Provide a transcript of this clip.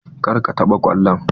Kar ka taɓa kwallon!